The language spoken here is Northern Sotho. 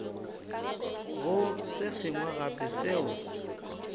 go se sengwe gape seo